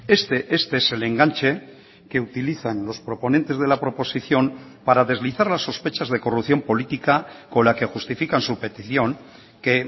este este es el enganche que utilizan los proponentes de la proposición para deslizar las sospechas de corrupción política con la que justifican su petición que